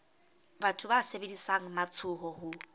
batho ba sebedisang matsoho ho